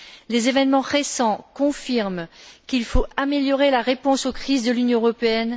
Les événements récents confirment qu'il faut améliorer la réponse aux crises de l'Union européenne.